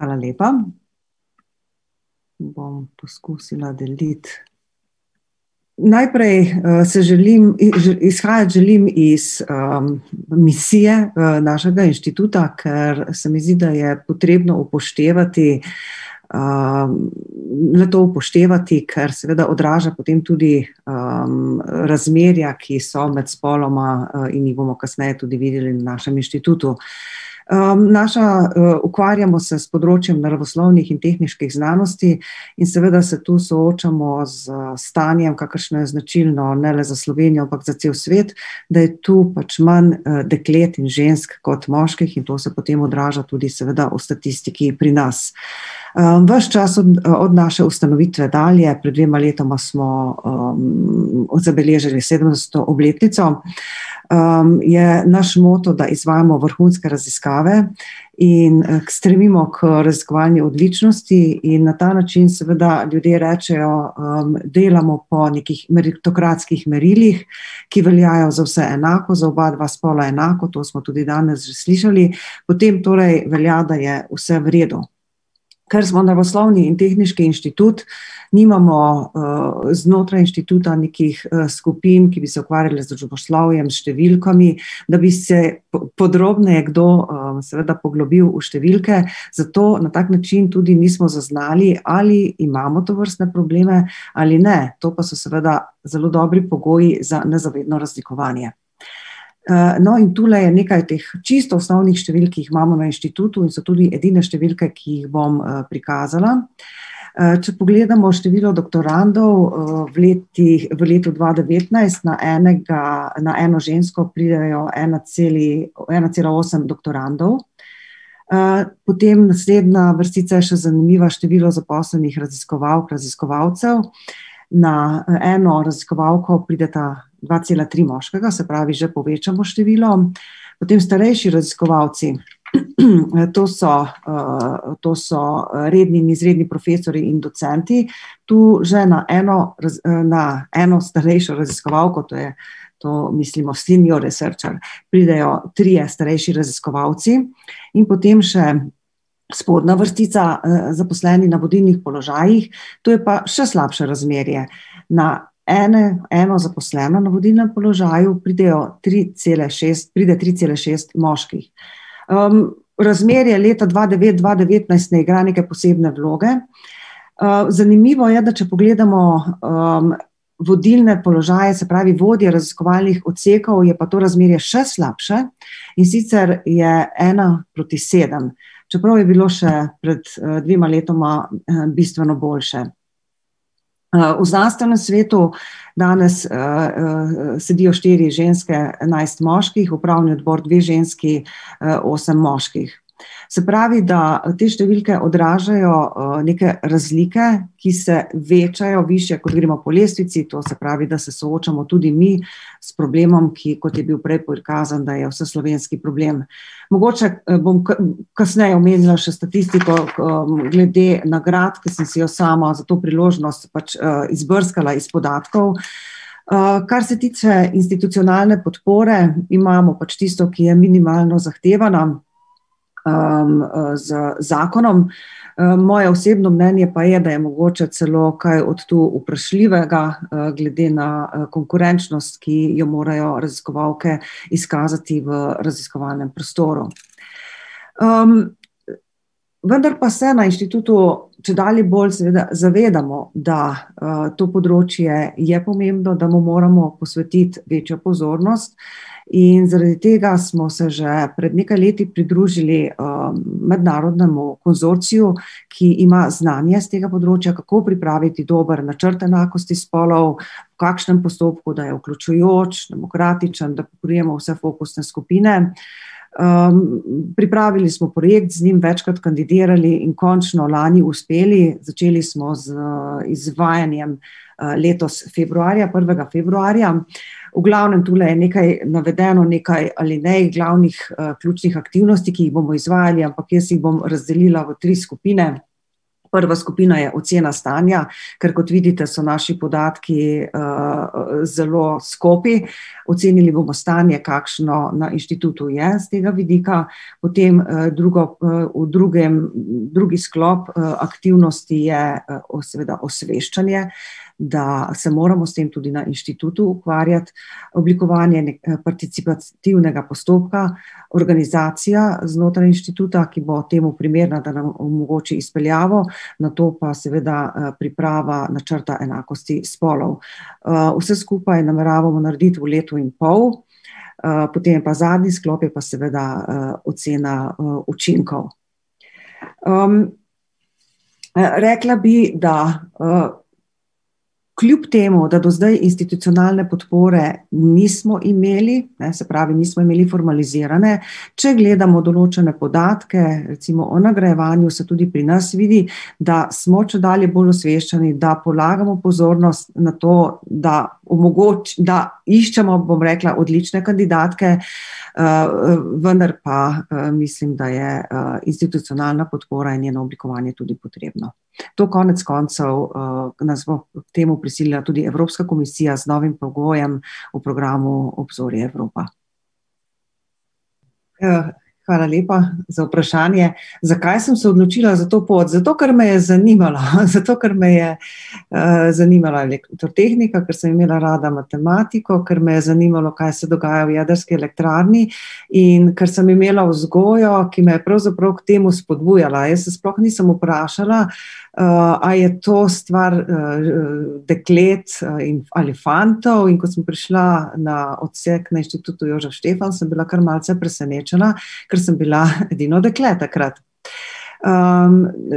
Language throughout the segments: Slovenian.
Hvala lepa. Bom poskusila deliti ... Najprej, se želim izhajati želim iz, misije, našega inštituta, ker se mi zdi, da je potrebno upoštevati, le-to upoštevati, ker seveda odraža potem tudi, razmerja, ki so med spoloma, in jih bomo kasneje tudi videli na našem inštitutu. naša, ukvarjamo se s področjem naravoslovnih in tehniških znanosti in seveda se tu soočamo s stanjem, kakršno je značilno ne le za Slovenijo, ampak za cel svet. Da je tu pač manj, deklet, žensk kot moških in to se potem odraža tudi seveda v statistiki pri nas. ves čas od naše ustanovitve dalje, pred dvema letoma smo zabeležili sedemsto obletnico, je naš moto, da izvajamo vrhunske raziskave in, stremimo k raziskovanju odličnosti. In na ta način seveda ljudje rečejo, delamo po nekih meritokratskih merilih, ki veljajo za vse enako, za oba dva spola enako, to smo tudi danes že slišali. Potem torej velja, da je vse v redu. Ker smo naravoslovni in tehniški inštitut, nimamo, znotraj inštituta nekih, skupin, ki bi se ukvarjale z družboslovjem, številkami, da bi se podrobneje kdo, seveda poglobil v številke, zato na tak način tudi nismo zaznali, ali imamo tovrstne probleme ali ne. To pa so seveda zelo dobri pogoji za nezavedno razlikovanje. no, in tule je nekaj teh čisto osnovnih številk, ki jih imamo na inštitutu in so tudi edine številke, ki jih bom, prikazala. če pogledamo število doktorandov, v letih, v letu dva devetnajst na enega, na eno žensko pridejo ena ena cela osem doktorandov. potem naslednja vrstica je še zanimiva, število zaposlenih raziskovalk, raziskovalcev, na, eno raziskovalko prideta dva cela tri moškega, se pravi, že povečano število. Potem starejši raziskovalci, , to so, to so, redni in izredni profesorji in docenti, tu že na eno na eno starejšo raziskovalko, to je, to mislimo senior researcher, pridejo trije starejši raziskovalci. In potem še spodnja vrstica, zaposlenih na vodilnih položajih, tu je pa še slabše razmerje. Na ene, eno zaposleno na vodilnem položaju pridejo tri, cela šest, pride tri, cela šest moških. razmerje leta dva dva devetnajst ne igra neke posebne vloge, zanimivo pa je, da če pogledamo, vodilne položaje, se pravi vodje raziskovalnih odsekov, je pa to razmerje še slabše. In sicer je ena proti sedem. Čeprav je bilo še pred, dvema letoma, bistveno boljše. v znanstvenem svetu danes, sedijo štiri ženske, enajst moških, upravni odbor dve ženski, osem moških. Se pravi, da te številke odražajo, neke razlike, ki se večajo, višje, kot gremo po lestvici, to se pravi, da se soočamo tudi mi s problemom, ki, kot je bil prej prikazan, da je vseslovenski problem. Mogoče, bom kasneje omenila še statistiko, glede nagrad, ke sem si jo sama za to priložnost pač, izbrskala iz podatkov, kar se tiče institucionalne podpore, imamo pač tisto, ki je minimalno zahtevana, z zakonom. moje osebno mnenje pa je, da je mogoče celo kaj od tu vprašljivega, glede na, konkurenčnost, ki jo morajo raziskovalke izkazati v raziskovalnem prostoru. vendar pa se na inštitutu čedalje bolj seveda zavedamo, da, to področje je pomembno, da mu moramo posvetiti večjo pozornost, in zaradi tega smo se že pred nekaj leti pridružili, mednarodnemu konzorciju, ki ima znanje s tega področja, kako pripraviti dober načrt enakosti spolov, v kakšnem postopku, da je vključujoč, demokratičen, da pokrijemo vse fokusne skupine. pripravili smo projekt, z njim večkrat kandidirali in končno lani uspeli. Začeli smo z izvajanjem, letos februarja, prvega februarja. V glavnem, tule je nekaj navedeno, nekaj alinej glavnih, ključnih aktivnosti, ki jih bomo izvajali, ampak jaz jih bom razdelila v tri skupine. Prva skupina je ocena stanja, kar kot vidite, so naši podatki, zelo skopi, ocenili bomo stanje, kakšno na inštitutu je s tega vidika, potem, drugo, v drugem, drugi sklop, aktivnosti je, seveda osveščanje, da se moramo s tem tudi na inštitutu ukvarjati, oblikovanje participativnega postopka, organizacija znotraj inštituta, ki bo temu primerna, da nam omogoči izpeljavo, nato pa seveda, priprava načrta enakosti spolov. vse skupaj nameravamo narediti v letu in pol. potem je pa zadnji sklop, je pa seveda, ocena, učinkov. rekla bi, da, kljub temu, da do zdaj institucionalne podpore nismo imeli, ne, se pravi, nismo imeli formalizirane, če gledamo določene podatke, recimo o nagrajevanju, se tudi pri nas vidi, da smo čedalje bolj osveščeni, da polagamo pozornost na to, da da iščemo, bom rekla, odlične kandidatke, vendar pa, mislim, da je, institucionalna podpora in njeno oblikovanje tudi potrebno. To konec koncev, pa nas bo k temu prisilila tudi Evropska komisija z novim pogojem v programu Obzorje Evropa. hvala lepa za vprašanje. Zakaj sem se odločila za to pot? Zato, ker me je zanimala, zato, ker me je, zanimala elektrotehnika, ker sem imela rada matematiko, ker me je zanimalo, kaj se dogaja v jedrski elektrarni in ker sem imela vzgojo, ki me je pravzaprav k temu spodbujala, jaz se sploh nisem pravzaprav vprašala, a je to stvar, deklet, in, ali fantov, in ko sem prišla na odsek na Inštitutu Jožef Stefan, sem bila kar malce presenečena, ker sem bila edino dekle takrat.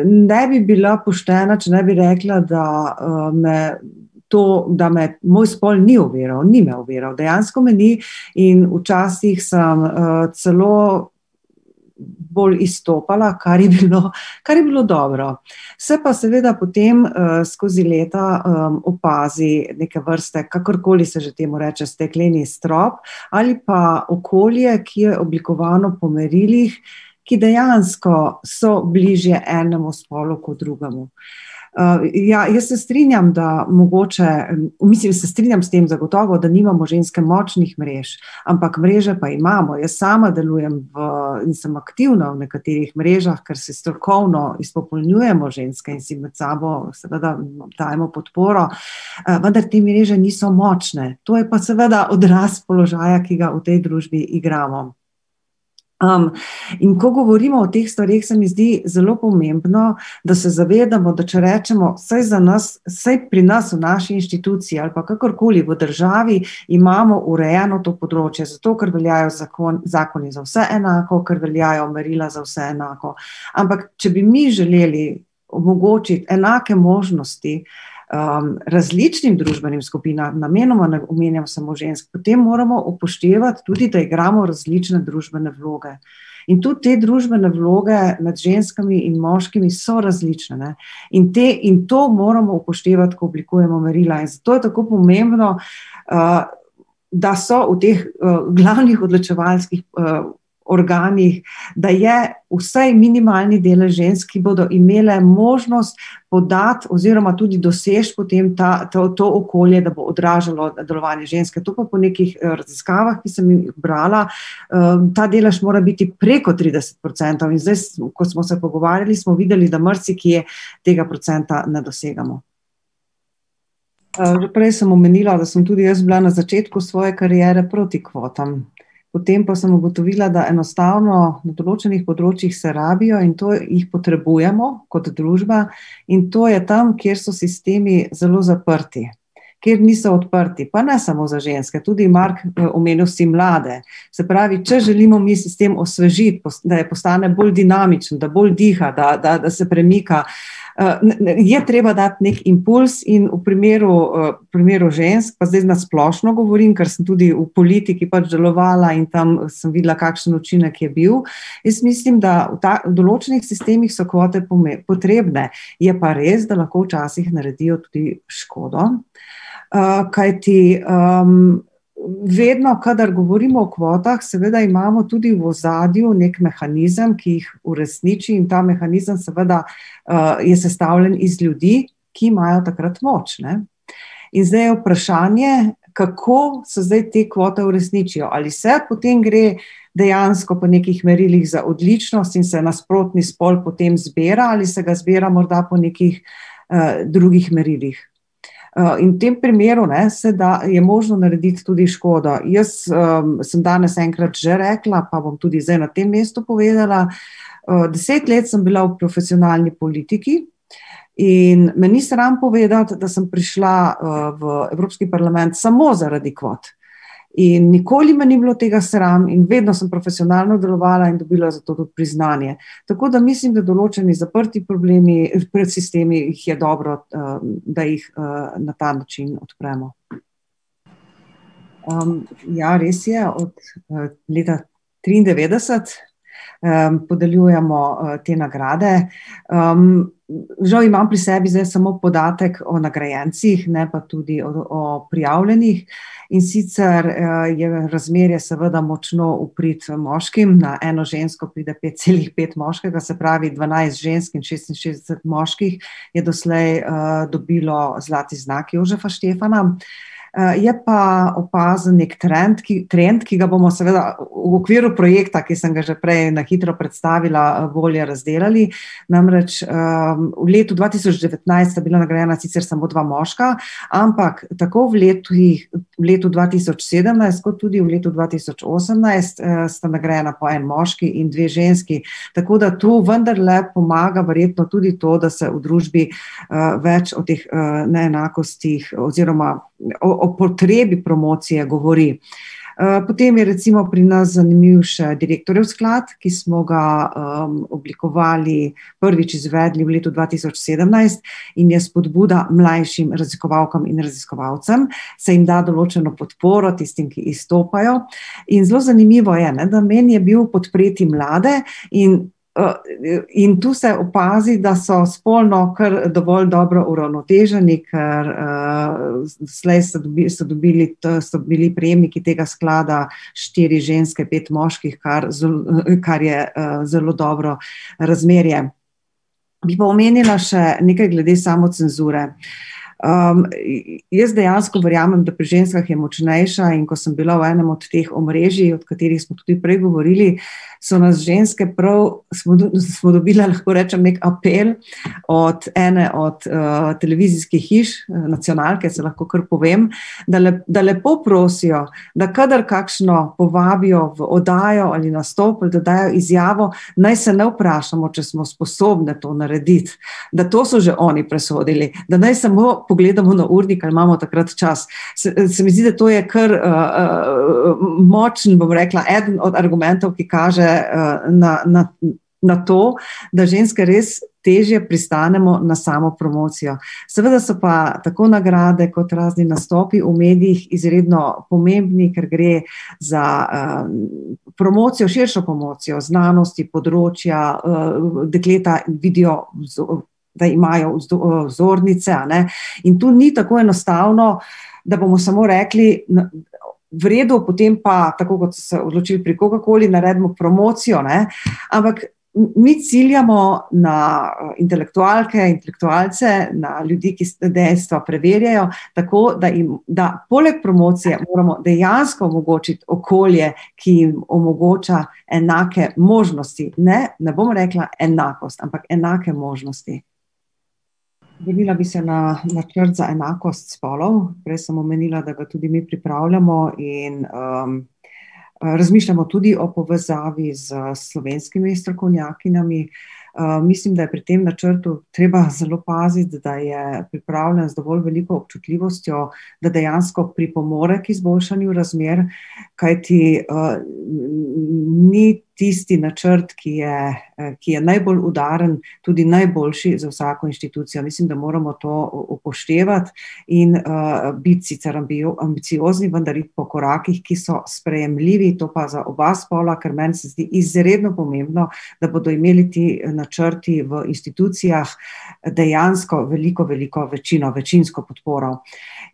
ne bi bila poštena, če ne bi rekla, da, me to, da me moj spol ni oviral, ni me oviral, dejansko me ni in včasih sem, celo bolj izstopala, kar je bilo, kar je bilo dobro. Se pa seveda potem, skozi leta, opazi neke vrste, kakorkoli se že temu reče, stekleni strop ali pa okolje, ki je oblikovano po merilih, ki dejansko so bližje enemu spolu kot drugemu. ja, jaz se strinjam, da mogoče, mislim, se strinjam s tem, zagotovo, da nimamo ženske močnih mrež, ampak mreže pa imamo. Jaz sama delujem v, in sem aktivna v nekaterih mrežah, ker se strokovno izpopolnjujemo ženske in si med sabo seveda dajemo podporo, vendar te mreže niso močne. To je pa seveda odraz položaja, ki ga v tej družbi igramo. in ko govorimo o teh stvareh, se mi zdi zelo pomembno, da se zavedamo, da če rečemo: "Saj za nas, saj pri nas v naši inštituciji ali pa kakorkoli v državi imamo urejeno to področje, zato ker veljajo zakoni za vse enako, ker veljajo merila za vse enako." Ampak če bi mi želeli omogočiti enake možnosti, različnim družbenim skupinam, namenoma ne omenjam samo žensk, potem moramo upoštevati tudi, da igramo različne družbene vloge. In tudi te družbene vloge med ženskami in moškimi so različne, ne. In te, in to moramo upoštevati, ko oblikujemo merila, in zato je tako pomembno, da so v teh, glavnih odločevalskih, organih, da je vsaj minimalni delež žensk, ki bodo imele možnost podati oziroma tudi doseči potem ta, ta, to okolje, da bo odražalo delovanje ženske, to pa po nekih, raziskavah, ki sem jih brala, ta delež mora biti preko trideset procentov. In zdaj, ko smo se pogovarjali, smo videli, da marsikje tega procenta ne dosegamo. že prej sem omenila, da sem tudi jaz bila na začetku svoje kariere proti kvotam. Potem pa sem ugotovila, da enostavno na določenih področjih se rabijo in to, jih potrebujemo, kot družba, in to je tam, kjer so sistemi zelo zaprti. Kjer niso odprti, pa ne samo za ženske, tudi, Mark, omenil si mlade. Se pravi, če želimo mi sistem osvežiti, da postane bolj dinamičen, da bolj diha, da, da se premika, ne je treba dati neki impulz in v primeru, v primeru žensk, pa zdaj na splošno govorim, kar sem tudi v politiki pač delovala in tam sem videla, kakšen učinek je bil, jaz mislim, da v v določenih sistemih so kvote potrebne. Je pa res, da lahko včasih naredijo tudi škodo. kajti, vedno, kadar govorimo o kvotah, seveda imamo tudi v ozadju neki mehanizem, ki jih uresniči, in ta mehanizem seveda, je sestavljen iz ljudi, ki imajo takrat moč, ne. In zdaj je vprašanje, kako so zdaj te kvote uresničijo, ali vse potem gre dejansko po nekih merilih za odličnost in se nasprotni spol potem zbira ali se ga zbira morda po nekih, drugih merilih. in v tem primeru, ne, se da, je možno narediti tudi škodo. Jaz, sem danes enkrat že rekla, pa bom tudi zdaj na tem mestu povedala, deset let sem bila v profesionalni politiki in me ni sram povedati, da sem prišla, v Evropski parlament samo zaradi kvot. In nikoli me ni bilo tega sram in vedno samo profesionalno delovala in dobila za to tudi priznanje. Tako da mislim, da določeni zaprti problemi, sistemi, jih je dobro, da jih, na ta način odpremo. ja, res je, od, leta triindevetdeset podeljujemo te nagrade, žal imam pri sebi samo podatek o nagrajencih, ne pa tudi o prijavljenih. In sicer, je na razmerje seveda močno v prid, moškim, na eno žensko pride pet, celih pet moškega, se pravi dvanajst žensk in šestinšestdeset moških je doslej, dobilo zlati znak Jožefa Štefana. je pa opazen neki trend, ki, trend, ki ga bomo seveda v okviru projekta, ki sem ga že prej na hitro predstavila, bolje razdelali, namreč, v letu dva tisoč devetnajst sta bila nagrajena sicer samo dva moška, ampak tako v letih, letu dva tisoč sedemnajst kot tudi v letu dva tisoč osemnajst, sta nagrajena po en moški in dve ženski. Tako da to vendarle pomaga verjetno tudi to, da se v družbi, več o teh, neenakostih oziroma, o potrebi promocije govori. potem je recimo pri nas zanimiv še direktorjev sklad, ki smo ga, oblikovali, prvič izvedli v letu dva tisoč sedemnajst in je spodbuda mlajših raziskovalkam in raziskovalcem, se jim da določeno podporo, tistim, ki izstopajo. In zelo zanimivo je, ne, namen je bil podpreti mlade in, in tu se opazi, da so spolno kar dovolj dobro uravnoteženi, ker, doslej so so dobili, so bili prejemniki tega sklada štiri ženske, pet moških, kar kar je, zelo dobro razmerje. Bi pa omenila še nekaj glede samocenzure. jaz dejansko verjamem, da pri ženskah je močnejša, in ko sem bila v enim od teh omrežij, o katerih smo tudi prej govorili, so nas ženske prav smo smo dobile, lahko rečem, neki apel, od, ene od, televizijskih hiš, nacionalke, saj lahko kar povem, da da lepo prosijo, da kadar kakšno povabijo v oddajo ali nastop, pa da dajo izjavo, naj se ne vprašamo, če smo sposobne to narediti. Da to so že oni presodili. Da naj samo pogledamo na urnik, a imamo takrat čas. Se, se mi zdi, da to je kar, močen, bom rekla, eden od argumentov, ki kaže, na, na na to, da ženske res težje pristanemo na samopromocijo. Seveda so pa tako nagrade kot razni nastopi v medijih izredno pomembni, ker gre za, promocijo, širšo promocijo znanosti, področja, dekleta vidijo, da imajo vzornice, a ne, in tu ni tako enostavno, da bomo samo rekli: v redu, potem pa, tako kot so odločili pri komerkoli, naredimo promocijo, ne." Ampak mi ciljamo na, intelektualke, intelektualce, na ljudi, ki vsa dejstva preverijo, tako, da jim, da poleg promocije moramo dejansko omogočiti okolje, ki jim omogoča enake možnosti, ne, ne bom rekla enakost, ampak enake možnosti. Vrnila bi se na načrt za enakost spolov, prej sem omenila, da ga tudi mi pripravljamo, in, razmišljamo tudi o povezavi s slovenskimi strokovnjakinjami, mislim, da je pri tem načrtu treba zelo paziti, da je pripravljen z dovolj veliko občutljivostjo, da dejansko pripomore k izboljšanju razmer, kajti, ni tisti načrt, ki je, ki je najbolj udaren, tudi najboljši za vsako inštitucijo, mislim, da moramo to upoštevati. In, biti sicer ambiciozni, vendar iti po korakih, ki so sprejemljivi, to pa za oba spola, ker meni se zdi izredno pomembno, da bodo imeli ti načrti v institucijah dejansko veliko, veliko večino, večinsko podporo.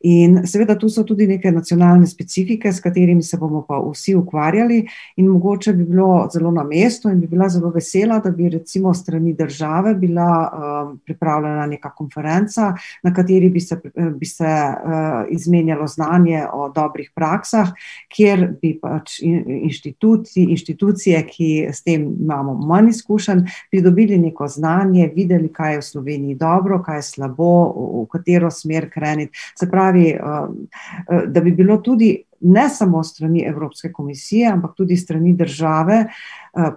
In seveda tu so tudi neke nacionalne specifike, s katerimi se bomo pa vsi ukvarjali, in mogoče bi bilo zelo na mestu in bi bila zelo vesela, da bi recimo s strani države bila, pripravljena neka konferenca, na kateri bi se bi se, izmenjalo znanje o dobrih praksah, kjer bi pač inštituti, inštitucije, ki s tem imamo manj izkušenj, pridobili neko znanje, videli, kaj je v Sloveniji dobro, kaj je slabo, v katero smer kreniti. Se pravi, da bi bilo tudi ne samo s strani Evropske komisije, ampak tudi s strani države,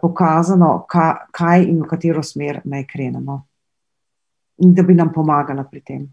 pokazano, kaj in v katero smer naj krenemo. In da bi nam pomagala pri tem.